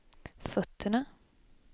fötterna